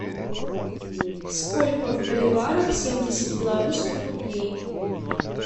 сколько в боливарах семьдесят белорусских рублей